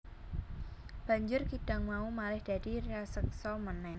Banjur kidang mau malih dadi raseksa meneh